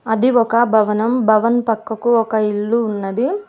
అది ఒక భవనం భవన్ పక్కకు ఒక ఇల్లు ఉన్నది.